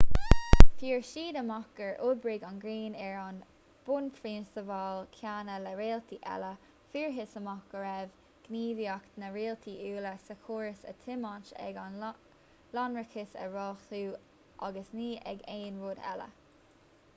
fuair ​​siad amach gur oibrigh an ghrian ar na bunphrionsabail chéanna le réaltaí eile: fuarthas amach go raibh gníomhaíocht na réaltaí uile sa chóras á tiomáint ag a lonrachas a rothlú agus ní ag aon rud eile